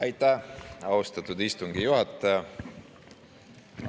Aitäh, austatud istungi juhataja!